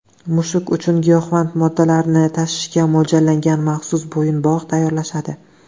Mushuk uchun giyohvand moddalarni tashishga mo‘ljallangan maxsus bo‘yinbog‘ tayyorlashadi.